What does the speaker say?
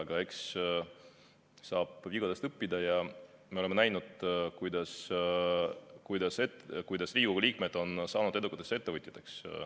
Aga eks saab vigadest õppida ja me oleme näinud, kuidas Riigikogu liikmed on saanud edukateks ettevõtjateks.